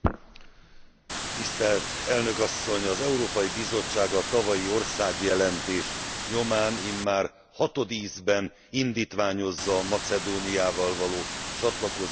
Az Európai Bizottság a tavalyi országjelentés nyomán immár hatodízben indítványozza a Macedóniával való csatlakozási tárgyalások elkezdését.